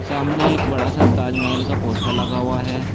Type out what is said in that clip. सामने एक बड़ा सा ताजमहल का पोस्टर लगा हुआ है।